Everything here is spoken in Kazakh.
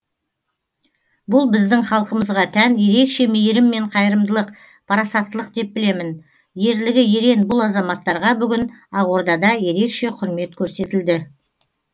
бұл біздің халқымызға тән ерекше мейірім мен қайырымдылық парасаттылық деп білемін ерлігі ерен бұл азаматтарға бүгін ақордада ерекше құрмет көрсетілді